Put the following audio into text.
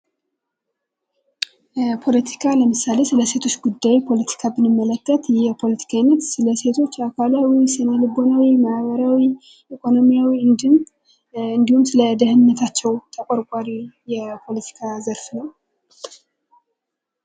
ፖለቲካ ለምሳሌ ስለ ሴቶች ጉዳይ ፖለቲካ ብንመለከት ይህ የፖለቲካ ዓይነት ስለሴቶች አካሏ ወይም ስነ-ልቦና ፣ማህበራዊ፣ ኢኮኖሚያዊ እንዲሁም እንዲሁም ስለ ደህንነታቸው ተቆርቋሪ የፖለቲካ ዘርፍ ነው።